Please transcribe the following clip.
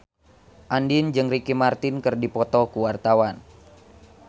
Andien jeung Ricky Martin keur dipoto ku wartawan